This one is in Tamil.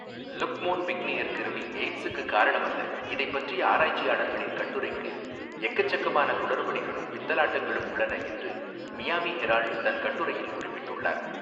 லுக் மோன்பிக்னியர் கிருமி எய்ட்ஸுக்கு காரணமல்ல இதைப்பற்றிய ஆராய்ச்சியாளர்களின் கட்டுரைகளில் எக்கச்சக்கமான குளறுபடிகளும் பித்தலாட்டங்களும் உள்ளன என்று மியாமி ஹெரால்ட் தன் கட்டுரையில் குறிப்பிட்டுள்ளார்.